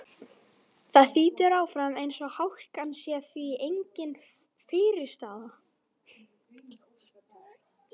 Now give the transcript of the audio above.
Það þýtur áfram eins og hálkan sé því engin fyrirstaða.